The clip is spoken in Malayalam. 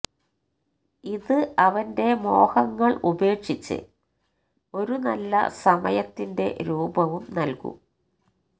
ഇത് അവന്റെ മോഹങ്ങൾ ഉപേക്ഷിച്ച് ഒരു നല്ല സമയത്തിന്റെ രൂപവും നൽകും